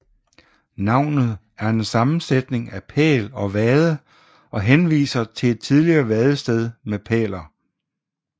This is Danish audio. Navnet er en sammensætning af pæl og vade og henviser til et tidligere vadested med pæler